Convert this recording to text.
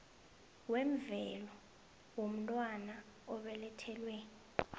wemvelo womntwana obelethelwe